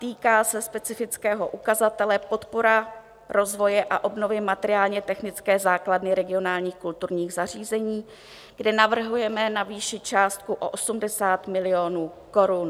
Týká se specifického ukazatele Podpora rozvoje a obnovy materiálně-technické základny regionálních kulturních zařízení, kde navrhujeme navýšit částku o 80 milionů korun.